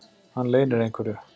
Hann leynir einhverju.